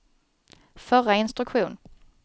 förra instruktion